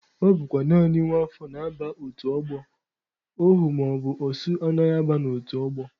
Ọ bụkwa naanị nwa afọ na-aba otu ọgbọ, ohu maọbụ osu anaghị aba otu ọgbọ.